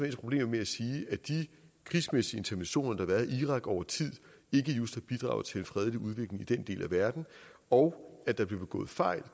problemer med at sige at de krigsmæssige interventioner der har været i irak over tid ikke just har bidraget til en fredelig udvikling i den del af verden og at der blev begået fejl